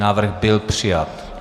Návrh byl přijat.